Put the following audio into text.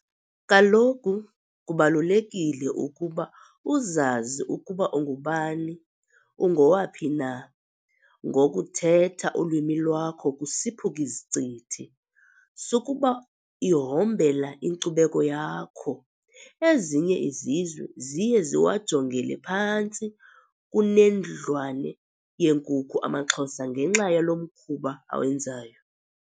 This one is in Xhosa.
Kaloku kubalulekile ukuba uzazi ukuba ungubani, ungowaphi na. Ngokuthetha ulwimi lwakho kusiphuk′izicithi, sukuba ihombela inkcubeko yakho. Ezinye izizwe ziye ziwajongele phantsi kunendlwane yeenkukhu amaxhosa ngenxa yalo mkhuba awenzayo.